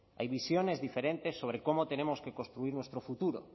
hay visiones diferentes sobre cómo tenemos que construir nuestro futuro